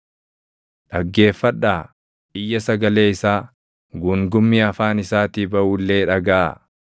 Dhaggeeffadhaa! Iyya sagalee isaa, guungummii afaan isaatii baʼu illee dhagaʼaa.